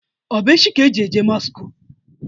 Ọ bụ echi ka e ji eje mosku?